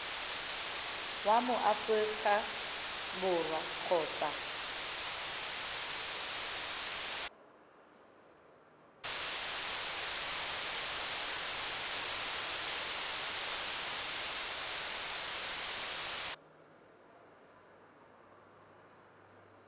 wa mo aforika borwa kgotsa